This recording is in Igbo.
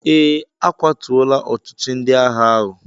Ee, a kwatuọla ọchịchị ndị agha ahụ